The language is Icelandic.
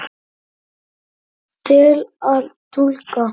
Til að túlka